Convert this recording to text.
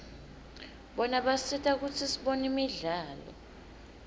bona basisita kutsi sibone imidlalo